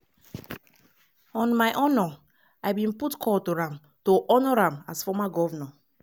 “on my honour i bin put call to am to honour am as former govnor.